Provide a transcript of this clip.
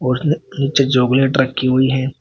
नीचे चॉकलेट रखी हुई है।